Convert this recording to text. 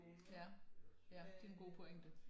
Ja ja det er en god pointe